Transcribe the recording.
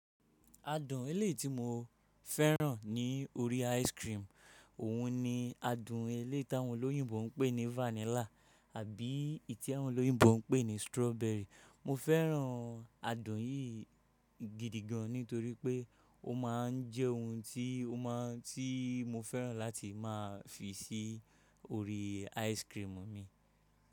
Adùn eléyi ti mo fẹ́ràn ní orí ice cream, òun ni adùn eléyi tí àwọn olóyìnbo ń pè ní vanilla àbí ì tí àwọn olóyìnbo ń pè ní strawberry. Mo fẹ́ràn adùn yìí gidigan nítorí pé ó ma ń jẹ́ ohun tí ó ma tí mo fẹ́ràn láti máa fi sí orí ice cream mi.